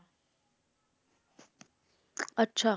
ਅੱਛਾ